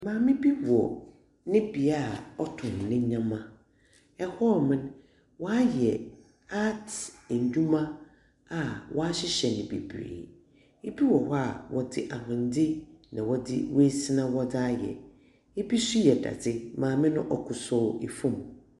Maame bi wɔ ne bia a w'ɔtɔn ne nneɛma ɛhɔnom, w'ayɛ aat nneɛma a wahyehyɛ no bebree. Ebi wɔ hɔ a w'ɔde ahwene ɛna wɔde asina ɛna wɔde ayɛ ebi nso yɛ dade. maame no ɔkoto fɔm.